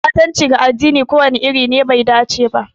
Ɓatanci ga addini ko wani iri ne bai dace ba.